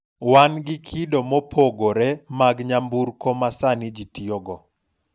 wan gi kido mopogore mag nyamburko ma sani ji tiyogo